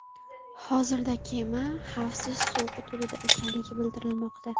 Hozirda kema xavfsiz suv hududida ekanligi bildirilmoqda.